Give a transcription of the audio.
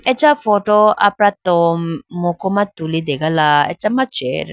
acha photo apratom muku ma tulitegala acha ma chair .